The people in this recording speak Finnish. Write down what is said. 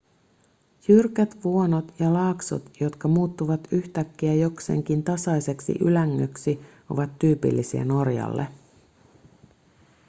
jyrkät vuonot ja laaksot jotka muuttuvat yhtäkkiä jokseenkin tasaiseksi ylängöksi ovat tyypillisiä norjalle